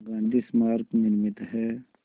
गांधी स्मारक निर्मित है